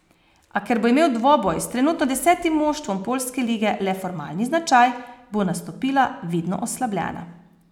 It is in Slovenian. A ker bo imel dvoboj s trenutno desetim moštvom poljske lige le formalni značaj, bo nastopila vidno oslabljena.